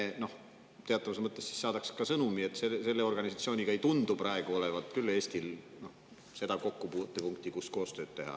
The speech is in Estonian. Sel juhul me teatavas mõttes saadaksime sõnumi, et selle organisatsiooniga ei tundu küll Eestil praegu olevat seda kokkupuutepunkti, kus koostööd teha.